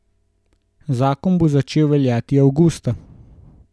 Zakon bo začel veljati avgusta.